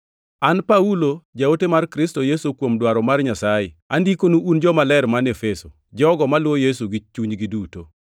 An Paulo, jaote mar Kristo Yesu kuom dwaro mar Nyasaye, andikonu un jomaler man Efeso, jogo maluwo Yesu gi chunygi duto.